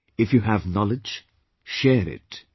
If you have knowledge share it,